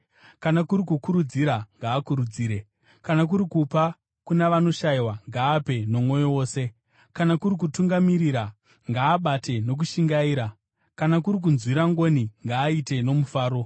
kana kuri kukurudzira, ngaakurudzire; kana kuri kupa kuna vanoshayiwa, ngaape nomwoyo wose; kana kuri kutungamirira, ngaabate nokushingaira; kana kuri kunzwira ngoni, ngaaite nomufaro.